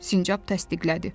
Sincab təsdiqlədi.